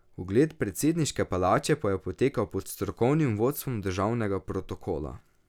Ogled predsedniške palače pa je potekal pod strokovnim vodstvom državnega protokola.